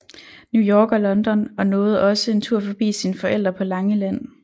New York og London og nåede også en tur forbi sine forældre på Langeland